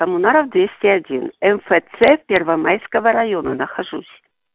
коммунаров двести один мфц первомайского района нахожусь